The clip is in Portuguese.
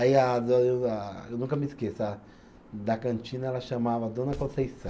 Aí a a eu nunca me esqueço, a da cantina ela chamava Dona Conceição.